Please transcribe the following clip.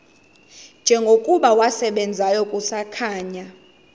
njengokuba wasebenzayo kusakhanya